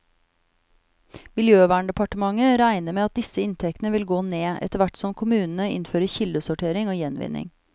Miljøverndepartementet regner med at disse inntektene vil gå ned, etterhvert som kommunene innfører kildesortering og gjenvinning.